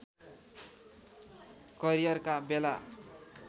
career का बेला